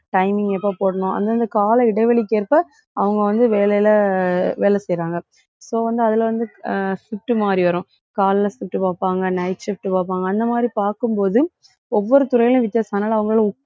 timing எப்ப போடணும்? அந்தந்த கால இடைவெளிக்கு ஏற்ப அவங்க வந்து வேலையில, வேலை செய்யறாங்க இப்ப வந்து அதுல வந்து அஹ் shift மாதிரி வரும். காலைல shift பார்ப்பாங்க night shift பார்ப்பாங்க. அந்த மாதிரி பார்க்கும் போது ஒவ்வொரு துறையிலும் வித்தியாசம். அதனால அவங்களால உட்~